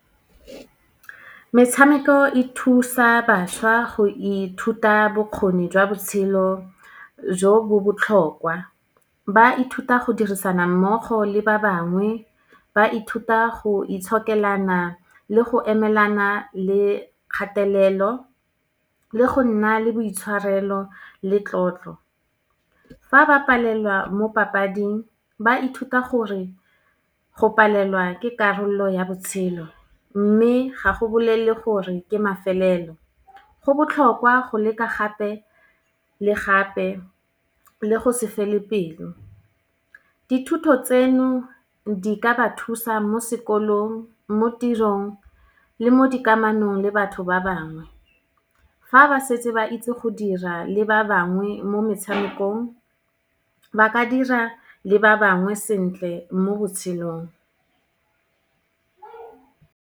Metshameko e thusa bašwa go ithuta bokgoni jwa botshelo, jo bo botlhokwa. Ba ithuta go dirisana mmogo le ba bangwe, ba ithuta go itshokelana le go emelana le kgatelelo, le go nna le boitshwarelo le tlotlo. Fa ba palelwa mo papading, ba ithuta gore go palelwa ke karolo ya botshelo, mme ga go bolelele gore ke mafelelo. Go botlhokwa go leka gape le gape, le go se fele pelo. Dithuto tseno, di ka ba thusa mo sekolong, mo tirong le mo dikamanong le batho ba bangwe. Ha ba setse ba itse go dira le ba bangwe mo metshamekong, ba ka dira le ba bangwe sentle mo botshelong.